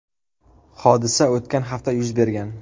Hodisa o‘tgan hafta yuz bergan.